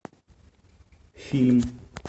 фильм